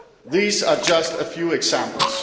These are just a few examples.